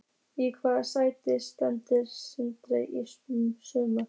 Í hvaða sæti endar Stjarnan í sumar?